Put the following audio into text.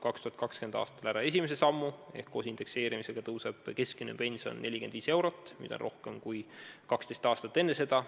2020. aastal me teeme ära esimese sammu: koos indekseerimisega tõuseb keskmine pension 45 eurot, mida on rohkem kui 12 aastat enne seda.